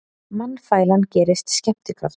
Mannafælan gerist skemmtikraftur